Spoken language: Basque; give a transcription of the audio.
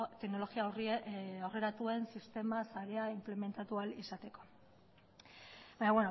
teknologia aurreratuen sistema saila inplementatu ahal izateko baina